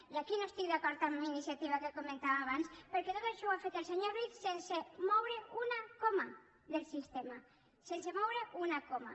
i aquí no estic d’acord amb iniciativa que ho comentava abans perquè tot això ho ha fet el senyor ruiz sense moure una coma del sistema sense moure’n una coma